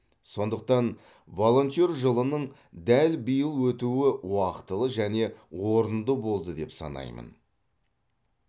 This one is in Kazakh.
сондықтан волонтер жылының дәл биыл өтуі уақтылы және орынды болды деп санаймын